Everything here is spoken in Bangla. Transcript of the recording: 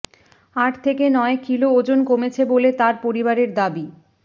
আট থেকে নয় কিলো ওজন কমেছে বলে তাঁর পরিবারের দাবি